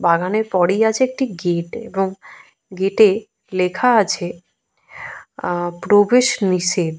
বাগানের পরেই আছে একটি গেট এবং গেট -এ লেখা আছে উহঃ প্রবেশ নিষেধ।